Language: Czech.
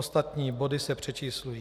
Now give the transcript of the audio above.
Ostatní body se přečíslují.